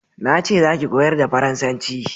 Na ce za ki koyar da faransanci!